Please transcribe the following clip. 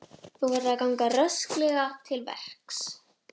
Þú verður að ganga rösklega til verks.